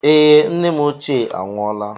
Ee, nne m ochie anwụọla.